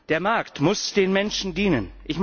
Der Markt muss den Menschen dienen.